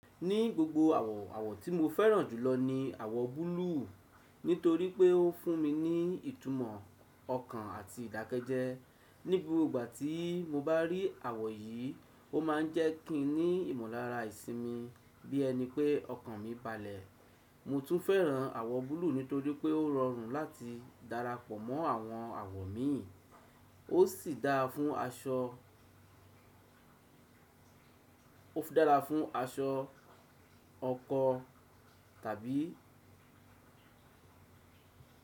Ní gbogbo àwọ̀, àwọ̀ tí mo fẹ́ràn jùlọ ni àwọ̀ búlúù nítorí pé ó fún mi ní ìtumọ̀ ọkàn àti ìdákẹ́jẹ́. Ní gbogbo ìgbà tí mo bá rí àwọ̀ yìí, ó máa ń jẹ́ kín ní ìmọ̀lára ìsinmi bí ẹni pé ọkàn mi balẹ̀. Mo tún fẹ́ràn àwọ̀ búlúù nítorí pé ó rọrùn láti darapọ̀ mọ́ àwọn àwọ̀ mi. Ó sì dára fún aṣọ, ó fún dára fún aṣọ ọkọ tàbí.